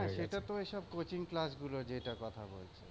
সেটা তো এসব coaching class গুলো যেটা কথা বলছ।